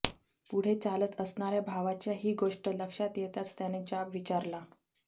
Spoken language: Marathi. पुढे चालत असणाऱ्या भावाच्या ही गोष्ट लक्षात येताच त्याने जाब विचारला